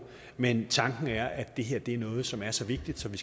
men tanken er at det her er noget som er så vigtigt at vi